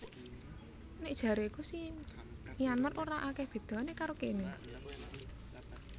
Nek jareku si Myanmar ora akeh bedone karo kene